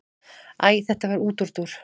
Æ þetta var útúrdúr.